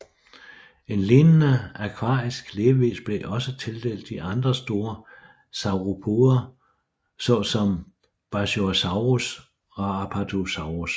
En lignende akvarisk levevis blev også tildelt de andre store sauropoder så som Brachiosaurus og Apatosaurus